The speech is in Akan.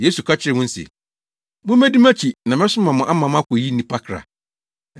Yesu ka kyerɛɛ wɔn se, “Mummedi mʼakyi na mɛsoma mo ama moakoyi nnipa kra.”